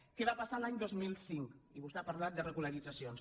què va passar l’any dos mil cinc i vostès ha parlat de regu·laritzacions